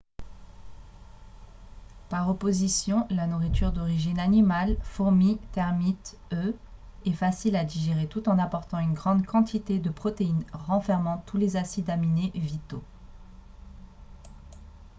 par opposition la nourriture d'origine animale fourmis termites œufs est facile à digérer tout en apportant une grande quantité de protéines renfermant tous les acides aminés vitaux